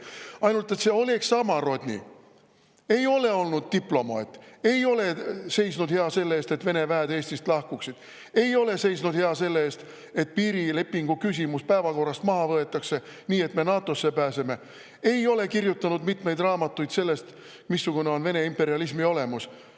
Ainult et see Oleg Samorodni ei ole olnud diplomaat; ei ole seisnud hea selle eest, et Vene väed Eestist lahkuksid; ei ole seisnud hea selle eest, et piirilepingu küsimus päevakorrast maha võetaks, nii et me NATO-sse pääseme; ei ole kirjutanud mitmeid raamatuid sellest, missugune on Vene imperialismi olemus.